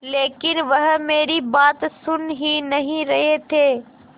लेकिन वह मेरी बात सुन ही नहीं रहे थे